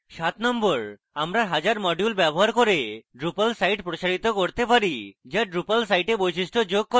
number 7: আমরা হাজার module ব্যবহার করে drupal সাইট প্রসারিত করতে পারি যা drupal সাইটে বৈশিষ্ট্য যোগ করে